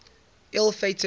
ill fated run